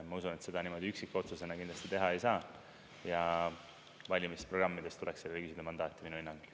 Ma usun, et seda niimoodi üksikotsusena kindlasti teha ei saa, ja valimisprogrammides tuleks küsida seda mandaati minu hinnangul.